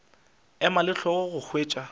ema le hlogo go hwetša